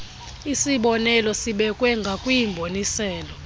isibonelo sibekwe ngakwimboniselo